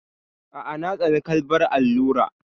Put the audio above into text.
A'a, na tsane karɓar allura.